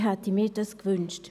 Ich hätte mir dies gewünscht.